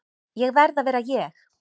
Ég verð að vera ég.